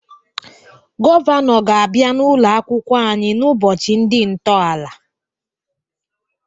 Gọvanọ ga-abịa n'ụlọ akwụkwọ anyị n'ụbọchị ndị ntọala.